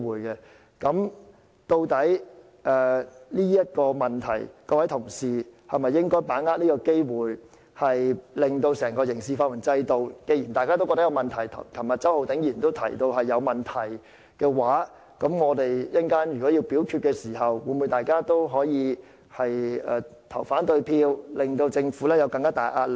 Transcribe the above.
究竟在這個問題上，各位同事應否把握這個機會令整個刑事法援制度作出改革，既然大家也覺得有問題，正如周浩鼎議員昨天也提到存在問題，我們稍後表決時，大家會否投反對票，向政府施加更大壓力？